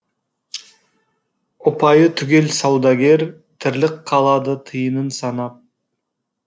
ұпайы түгел саудагер тірлік қалады тиынын санап